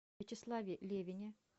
вячеславе левине